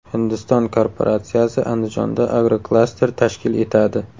Hindiston korporatsiyasi Andijonda agroklaster tashkil etadi.